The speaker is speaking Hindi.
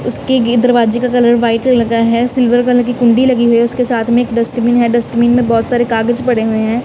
उसके गी दरवाजे का कलर व्हाइट लगा है सिल्वर कलर की कुंडी लगी हुई उसके साथ में एक डस्टबिन है डस्टबिन में बहोत सारे कागज पड़े हुए हैं।